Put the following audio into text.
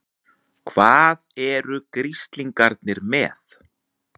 HVAÐ ERU GRISLINGARNIR MEÐ?